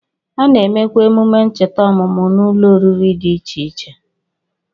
A na-emekwa emume ncheta ọmụmụ n'ụlọoriri dị iche iche